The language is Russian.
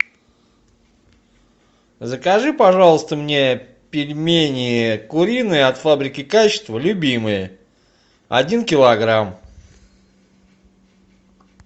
закажи пожалуйста мне пельмени куриные от фабрики качество любимые один килограмм